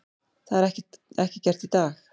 Það er ekki gert í dag!